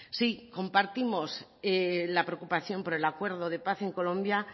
sí compartimos la preocupación por el acuerdo de paz en colombia